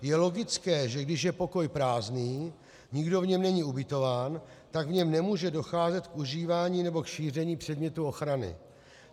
Je logické, že když je pokoj prázdný, nikdo v něm není ubytován, tak v něm nemůže docházet k užívání nebo k šíření předmětu ochrany.